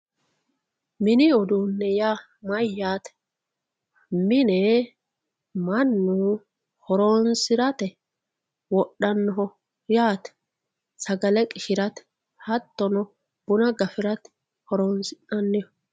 mini uduunne yaa mayyate mine mannu horoonsirate wodhannoho yaate sagale qishshirate hattonno buna gafirate horoonsi'naniho